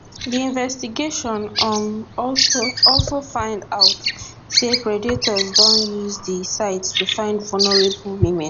di investigation um also also find out say predators don use di site to find vulnerable women